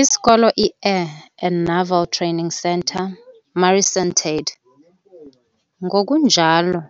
Isikolo, i-Air and Naval Training Centre, MARICENTADD, ngokunjalo